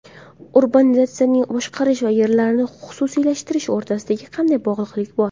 Urbanizatsiyani boshqarish va yerlarni xususiylashtirish o‘rtasida qanday bog‘liqlik bor?